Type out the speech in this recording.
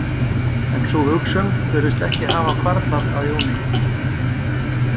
En sú hugsun virðist ekki hafa hvarflað að Jóni.